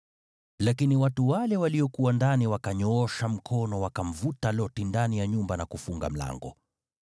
Lakini watu wale waliokuwa ndani wakanyoosha mkono wakamvuta Loti ndani ya nyumba na kufunga mlango.